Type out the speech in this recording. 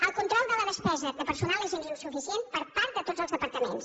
el control de la despesa de personal és insuficient per part de tots els departaments